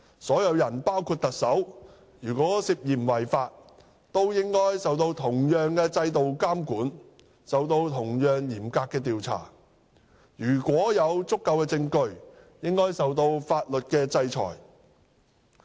任何人，包括特首，如果涉嫌違法，均應受同樣的制度監管及同樣嚴格的調查，如果有足夠證據，應受法律制裁。